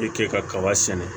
I ke kaba sɛnɛ